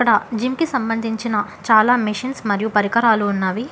ఇక్కడ జిమ్ కి సంబంధించిన చాలా మిషన్స్ మరియు పరికరాలు ఉన్నావి.